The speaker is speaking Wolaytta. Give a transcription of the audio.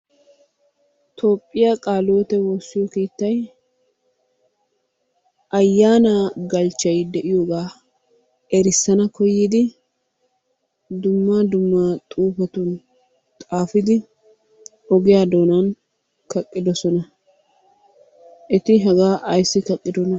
Toophiya qaale hiwoote woossiyo keettayi ayyaanaa galchchayi de'iyogaa erissana koyyidi dumma dumma xuufetun xaafidi ogiya doonan kaqqidosona. Eti hagaa ayssi kaqqidonaa?